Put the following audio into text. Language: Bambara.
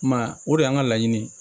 I m'a ye o de y'an ka laɲini ye